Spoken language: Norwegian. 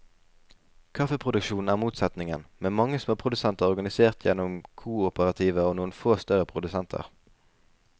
Kaffeproduksjonen er motsetningen, med mange småprodusenter organisert gjennom kooperativer og noen få større produsenter.